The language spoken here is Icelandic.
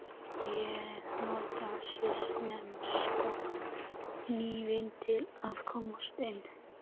Ég nota svissneska hnífinn til að komast inn.